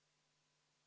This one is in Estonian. V a h e a e g